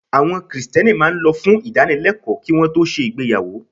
Àwọn Kristẹni máa ń lọ fún ìdánilẹ́kọ̀ọ́ kí won tó ṣe ìgbéyàwó.